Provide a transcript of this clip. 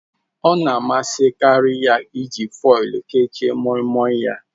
Ọ na-amasịkarị ya iji foil kechie Moimoi ya.